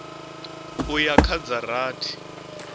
u ya kha dza rathi